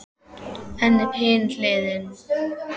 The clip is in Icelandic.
En hin hliðin.